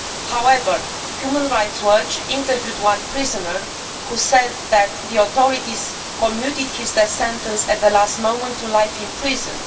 However, Human Rights Watch interviewed one prisoner who said that the authorities had commuted his death sentence at the last moment to life in prison.